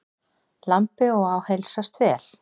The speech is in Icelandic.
Lambi og á heilsast vel.